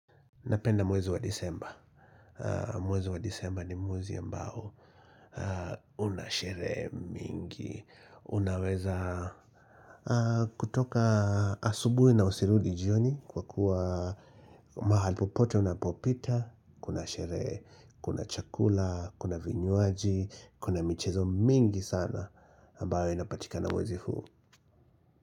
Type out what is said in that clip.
Napenda mwezi wa Disemba. Mwezi wa Disemba ni mwezi ambao una sherehe mingi. Unaweza kutoka asubuhi na usirudi jioni kwa kuwa mahali popote unapopita, kuna sherehe, kuna chakula, kuna vinywaji, kuna michezo mingi sana ambayo inapatika na mwezi huu.